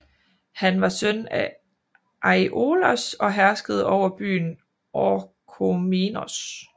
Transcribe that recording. Han var søn af Aiolos og herskede over byen Orchomenos